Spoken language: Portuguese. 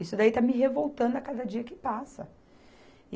Isso daí está me revoltando a cada dia que passa.